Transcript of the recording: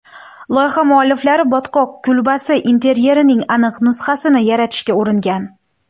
Loyiha mualliflari botqoq kulbasi interyerining aniq nusxasini yaratishga uringan.